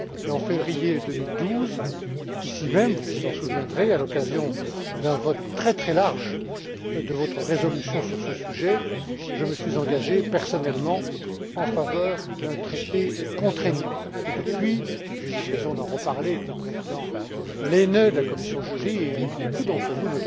En février 2012, ici même, vous vous en souviendrez, à l'occasion d'un vote extrêmement large de votre résolution sur ce sujet, je me suis engagé personnellement en faveur d'un traité contraignant. Depuis lors, j'ai eu l'occasion d'en reparler avec le président Lehne de la commission des affaires juridiques et avec beaucoup d'entre vous,